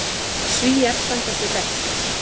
Svíar standi sig best.